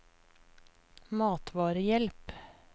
matvarehjelp